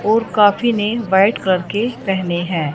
ओर काफी ने white colour के पहने है।